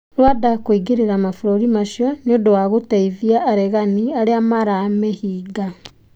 Rwanda kũingĩrĩra mabũrũri macio nĩũndũ wa gũteithia aregani arĩa maramĩhinga.